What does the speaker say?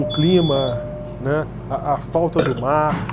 O clima, né, a a falta do mar.